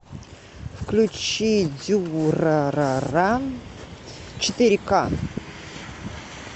включи дюрарара четыре ка